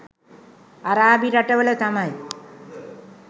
අරාබි රටවල තමයි